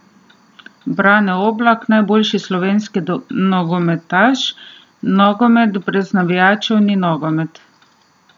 Brane Oblak, najboljši slovenski nogometaš: "Nogomet brez navijačev ni nogomet.